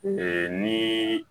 Ee ni